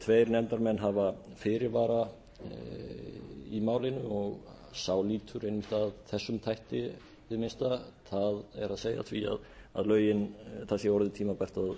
tveir nefndarmenn hafa fyrirvara í málinu og sá lýtur einmitt að þessum þætti hið minnsta það er því að það